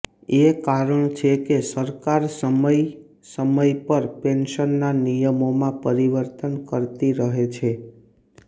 એ કારણ છે કે સરકાર સમય સમય પર પેંશનના નિયમોમાં પરિવર્તન કરતી રહે છે